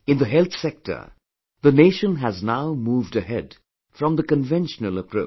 In the health sector the nation has now moved ahead from the conventional approach